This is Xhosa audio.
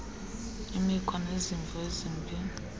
imikhwa nezimvo ezimbi